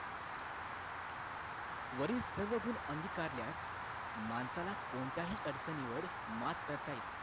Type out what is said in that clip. वरील सर्व गुण अंगीकारल्यास माणसाला कोणत्याही अडचणीवर मात करता येते